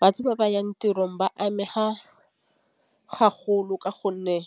Batho ba ba yang tirong ba amega ka gonne